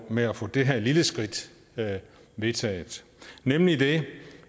med at få det her lille skridt vedtaget nemlig det